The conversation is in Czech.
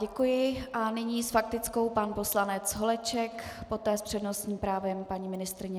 Děkuji a nyní s faktickou pan poslanec Holeček, poté s přednostním právem paní ministryně.